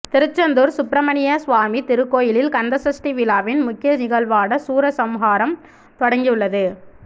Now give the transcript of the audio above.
திருச்செந்தூர் சுப்பிரமணிய சுவாமி திருக்கோயிலில் கந்தசஷ்டி விழாவின் முக்கிய நிகழ்வான சூரசம்ஹாரம் தொடங்கியுள்ளது